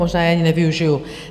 Možná je ani nevyužiju.